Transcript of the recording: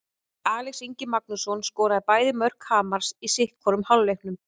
Axel Ingi Magnússon skoraði bæði mörk Hamars í sitthvorum hálfleiknum.